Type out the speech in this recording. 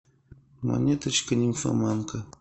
монеточка нимфоманка